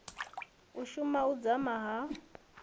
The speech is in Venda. u suma u dzama ha